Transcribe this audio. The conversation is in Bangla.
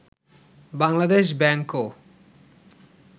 বাংলাদেশ ব্যাংকও